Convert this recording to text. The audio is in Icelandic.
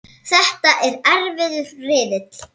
Þetta er erfiður riðill.